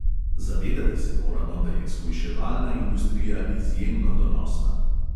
Zavedati se moramo, da je shujševalna industrija izjemno donosna.